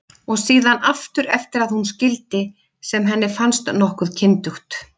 Og síðan aftur eftir að hún skildi, sem henni fannst nokkuð kyndugt.